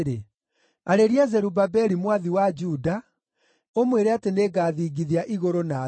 “Arĩria Zerubabeli mwathi wa Juda, ũmwĩre atĩ nĩngathingithia igũrũ na thĩ.